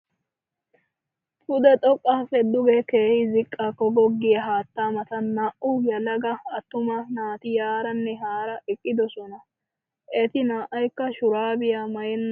Pude xoqqaappe duge keehi ziqqaakko goggiya haattaa matan naa"u yelaga attuma naati yaaranne haara eqqidosona. Eti naa"aykk shuraabiya maayennan eqqidosona.